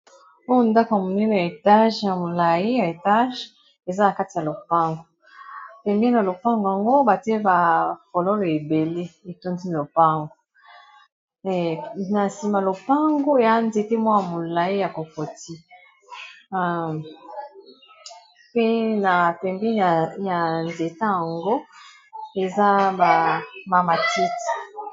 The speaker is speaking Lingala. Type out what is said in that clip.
Oyo ndako monene ya etage ya molayi ya etage eza na kati ya lopango pembeni ya lopango yango batie ba fololo ebele etondi lopango na nsima lopango ya nzete moko ya molayi ya kokoti pe na pembeni ya nzete yango eza ba matiti.